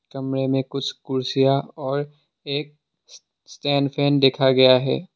कमरे में कुछ कुर्सियां और एक स्टैंड फैन देखा गया है।